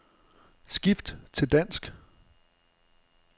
Skift til dansk.